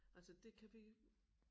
Altså det kan vi